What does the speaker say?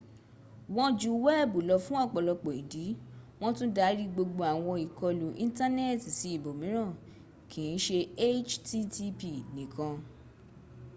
wọ́n ju wẹ́ẹ̀bù lọ fún ọ̀pọ̀lọpọ̀ ìdí. wọ́n tún dári gbogbo àwọn ìkọlù ìńtánẹ́ẹ̀tì sí ibò míràn kì ń ṣe http nìkan